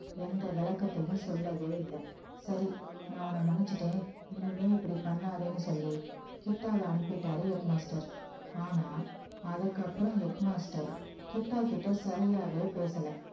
எந்த விளக்கத்தையும் சொல்லவே இல்லை சரி நான் உன்ன மன்னிச்சுட்டேன் இனிமே இப்படி பண்ணாதேன்னு சொல்லி கிட்டாவை அனுப்பிட்டாரு head master ஆனா அதுக்கப்புறம் head master கிட்டா கிட்ட சரியாவே பேசல